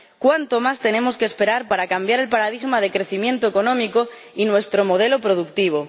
¿Cuánto más tenemos que esperar para cambiar el paradigma de crecimiento económico y nuestro modelo productivo?